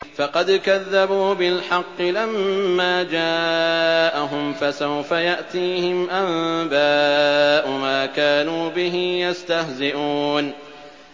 فَقَدْ كَذَّبُوا بِالْحَقِّ لَمَّا جَاءَهُمْ ۖ فَسَوْفَ يَأْتِيهِمْ أَنبَاءُ مَا كَانُوا بِهِ يَسْتَهْزِئُونَ